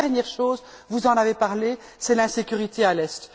La dernière chose vous en avez parlé c'est l'insécurité à l'est.